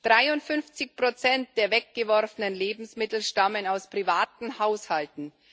53 der weggeworfenen Lebensmittel stammen aus privaten Haushalten.